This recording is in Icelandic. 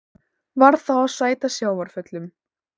Varð þá að sæta sjávarföllum.